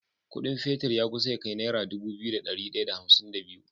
Ƙudin fetir ya kusa ya kai naira Dubu biyu da dari daya da hamsin da biyu